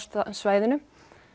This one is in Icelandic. svæðinu